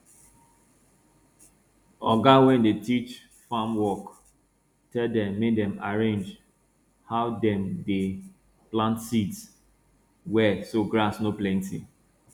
oga wey dey teach farm work tell dem make dem arrange how dem dey plant seeds well so grass no plenty